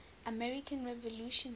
american revolution set